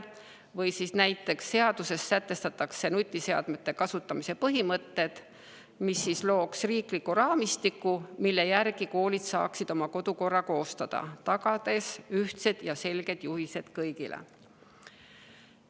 Või siis näiteks see, et seaduses sätestatakse nutiseadmete kasutamise põhimõtted, mis looksid riikliku raamistiku, mille järgi koolid saaksid oma kodukorra koostada, tagades ühtsed ja selged juhised kõigile.